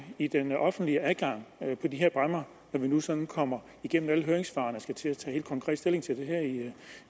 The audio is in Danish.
i den offentlige adgang på de her bræmmer når vi nu sådan kommer igennem alle høringssvarene og skal til at tage helt konkret stilling til det her